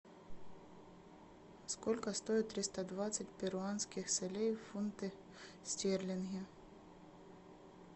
сколько стоит триста двадцать перуанских солей в фунты стерлинги